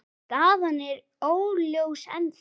Staðan er óljós ennþá.